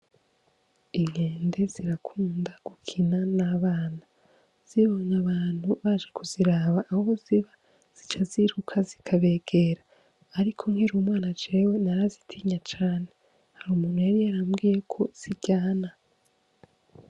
Inkende zirakunda gukina n'abana zibonye abantu baje kuziraba aho ziba zica ziruka zikabegera, ariko nkiri umwana jewe narazitinya cane hari umuntu yari yarambwiyeko ziryana.